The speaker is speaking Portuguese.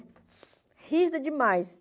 Rígida demais.